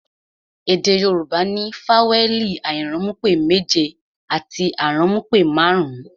Èdè Yorùbá ní fawẹẹli airanmupe méje àti aranmupe marun-un